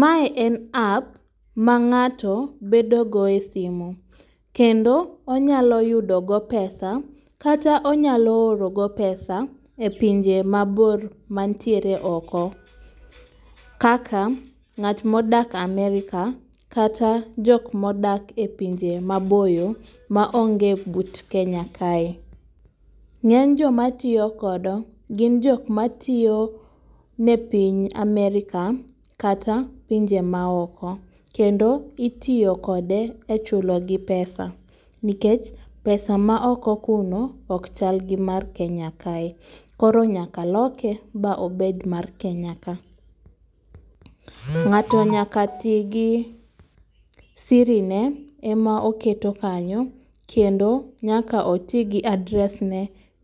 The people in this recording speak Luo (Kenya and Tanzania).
Mae en app ma ng'ato bedogo e simu. Kendo onyaloyudogo pesa kata onyalo orogo pesa e pinje mabor mantiere oko kaka ng'at modak Amerka kata jokmodak e pinje maboyo maonge but Kenya kae.Ng'eny jomatiyo kodo gin jokmatio ne piny Amerka kata pinje maoko kendo itiyo kode e chulogi pesa nikech pesa ma oko kuno okchal gi mar Kenya kae koro nyaka loke ba obed mar Kenya ka.Ng'ato nyaka tii gi sirine ema oketo kanyo kendo nyaka otigi address ne